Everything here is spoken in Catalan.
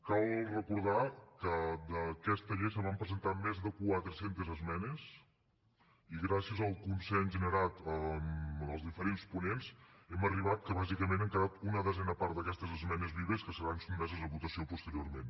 cal recordar que a aquesta llei es van presentar més de quatre centes esmenes i gràcies al consens generat amb els diferents ponents hem arribat que bàsicament han quedat una desena part d’aquestes esmenes vives que seran sotmeses a votació posteriorment